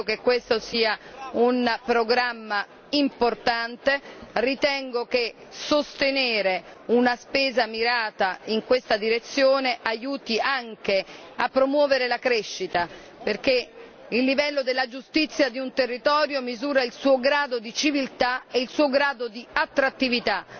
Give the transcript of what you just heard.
Credo che questo sia un programma importante, ritengo che sostenere una spesa mirata in questa direzione aiuti anche a promuovere la crescita, perché il livello della giustizia di un territorio misura il suo grado di civiltà e il suo grado di attrattività.